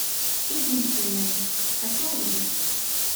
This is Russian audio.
единственная хочу увидеть